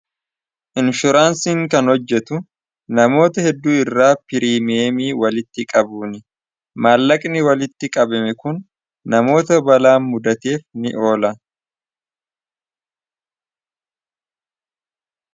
inshuraansiin kan hojjetu namoota hedduu irraa pirimiemii walitti qabuuni maallaqni walitti qabime kun namoota balaa mudateef ni oola